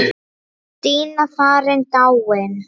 Stína farin, dáin.